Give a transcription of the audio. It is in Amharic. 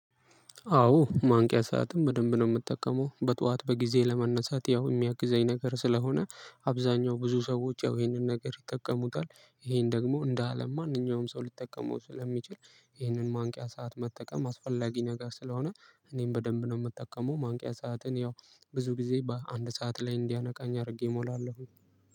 አዎ ማንቂያ ሰዓትን በደንብ ነው ምጠቀመው። በጠዋት በጊዜ ለመነሳት ያው የሚያግዘኝ ነገር ስለሆነ፥ አብዛኛው ብዙ ሰዎች ይሄንን ነገር ይጠቀሙታል። ይሄን ደግሞ እንደ አለም ማንኛውም ሰው ሊጠቀመው ስለሚችል፥ ይህንን ማንቂያ ሰዓት መጠቀም አስፈላጊ ነገር ስለሆነ እኔም በደንብ ነው ምጠቀመው ማንቂያ ሰዓትን ያው ብዙ ጊዜ በአንድ ሰዓት ላይ እንዲያነቃኝ አድርጌ እሞላለሁኝ።